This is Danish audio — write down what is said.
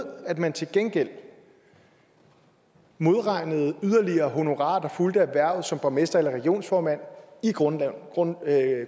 at man til gengæld modregnede yderligere honorarer der fulgte med hvervet som borgmester eller regionsformand i grundlønnen